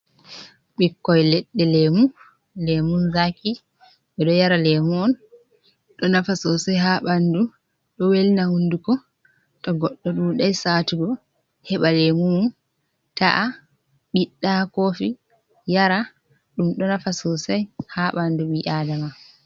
Ɓikkoi leɗɗe lemun, lemun zaki ɓeɗo yara lemu on ɗo nafa sosai ha bandu ɗo welna hunduko, to goɗɗo dudai saatugo heɓa lemu mum ta’a ɓiɗɗa kofi yara, ɗum ɗo nafa sosai ha bandu ɓi'adama.